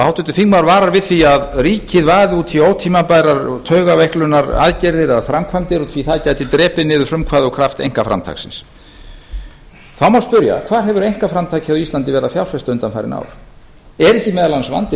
háttvirtur þingmaður varar við því að ríkið vaði út í ótímabærar taugaveiklunaraðgerðir eða framkvæmdir því það geti drepið niður frumkvæði og kraft einkaframtaksins þá má spyrja hvað hefur einkaframtakið á íslandi verið að fjárfesta undanfarin ár er ekki meðal annars vandinn